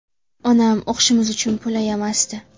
Onam o‘qishimiz uchun pul ayamasdi.